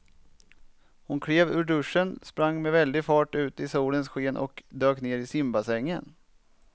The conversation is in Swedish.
Hon klev ur duschen, sprang med väldig fart ut i solens sken och dök ner i simbassängen.